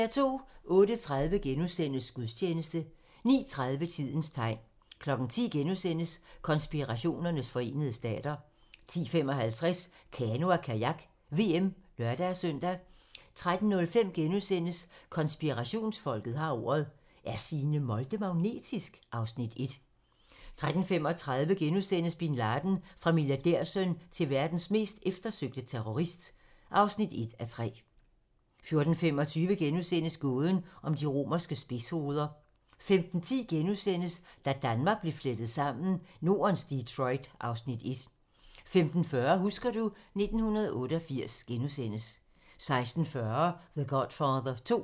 08:30: Gudstjeneste * 09:30: Tidens tegn 10:00: Konspirationernes forenede stater * 10:55: Kano og Kajak: VM (lør-søn) 13:05: Konspirationsfolket har ordet - Er Signe Molde magnetisk? (Afs. 1)* 13:35: Bin Laden - Fra milliardærsøn til verdens mest eftersøgte terrorist (1:3)* 14:25: Gåden om de romerske spidshoveder * 15:10: Da Danmark blev flettet sammen: Nordens Detroit (Afs. 1)* 15:40: Husker du ... 1988 * 16:40: The Godfather 2